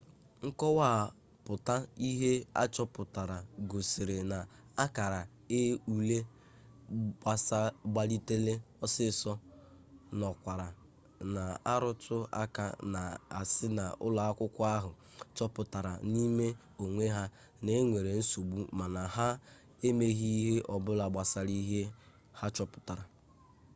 nkọwapụta ihe a chọpụtara gosiri na akara ule gbalitere ọsịịsọ nọkwara na-arụtụ aka na-asị na ụlọakwụkwọ ahụ choputara n'ime onwe na e nwere nsogbu mana ha emeghi ihe ọbụla gbasara ihe ha chọpụtara